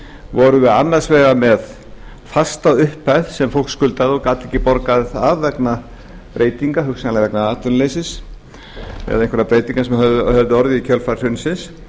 vorum við annars vegar með fasta upphæð sem fólk skuldar og gat ekki borgað af vegna breytinga hugsanlega vegna atvinnuleysis eða einhverra breytinga sem höfðu orðið í kjölfar hrunsins